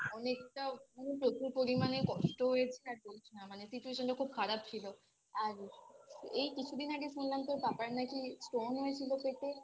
অনেকটা উ প্রচুর পরিমানে কষ্ট হয়েছে আর বলিস না মানে Situation টা খুব খারাপ ছিল আর এই কিছুদিন আগে শুনলাম তোর পাপার নাকি Stone হয়েছিল পেটে